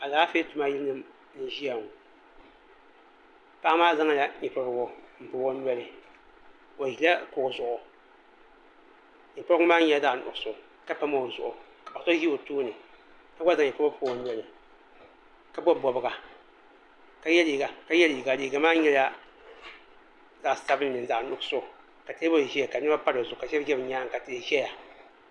Alaafee tuma yili nim n bɔŋɔ paɣa maa zaŋla nyɛ pobirigu n pɔbi o nɔli o ʒila kuɣu zuɣu nyɛ pobirigu maa nyɛla zaɣ nuɣso ka pam o zuɣu paɣa so ʒi o tooni ka gba zaŋ nyɛ pobirigu pobi o noli ka bob bobga ka yɛ liiga liiga maa nyɛla zaɣ sabinli ni zaɣ nuɣso ka teebuli ʒɛya ka niɛma pa dizuɣu ka shɛli ʒɛ bi myaanga ka tihi ʒɛya